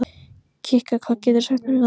Kikka, hvað geturðu sagt mér um veðrið?